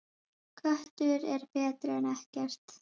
Köttur er betri en ekkert.